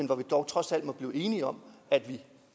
må dog trods alt kunne blive enige om at der